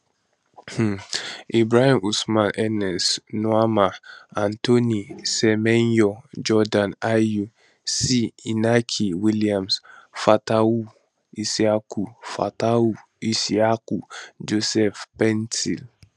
um ibrahim osman ernest nuamah antoine semenyo jordan ayew c inaki williams fatawu issahaku fatawu issahaku joseph paintsil